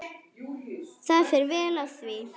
Það fer vel á því.